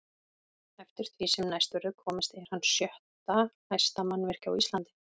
Eftir því sem næst verður komist er hann sjötta hæsta mannvirki á Íslandi.